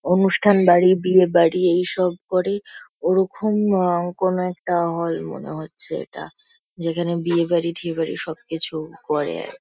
অনুষ্ঠান বাড়ি বিয়ে বাড়ি এইসব করে। ওরকম আ- কোনো একটা হল মনে হচ্ছে এটা। যেখানে বিয়ে বাড়ি ঠিয়ে বাড়ি সবকিছু করে--